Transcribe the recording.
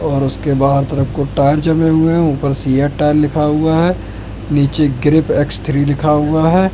और उसके बाद ट्रक को टायर जमे हुए है ऊपर सिया टायर लिखा हुआ है नीचे ग्रिप एक्स थ्री लिखा हुआ है।